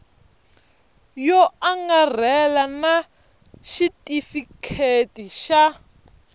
yo angarhela na xitifiketi xa